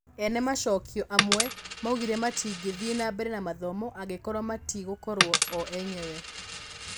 Ene macokio amwe maugire matingĩthiĩ nambere na mathomo angĩkorwo metigũkorwo o enyewe.